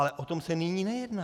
Ale o tom se nyní nejedná.